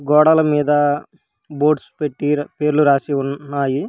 గోడల మీద బోర్డ్స్ పెట్టి పేర్లు రాసి ఉన్నాయి.